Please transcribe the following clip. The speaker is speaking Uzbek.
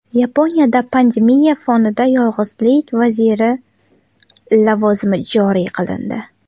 Yaponiyada pandemiya fonida yolg‘izlik vaziri lavozimi joriy qilindi.